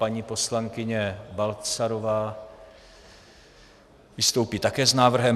Paní poslankyně Balcarová vystoupí také s návrhem.